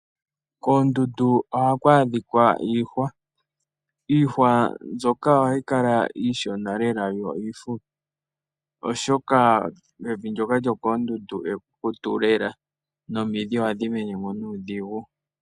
Koondundu ohaku adhika iihwa . Iiihwa mbyoka ohayi kala iishona lela yo iihupi oshoka evi ndyoka lyokoondundu ekukutu lela nomidhi ohadhi menemo nuudhigu.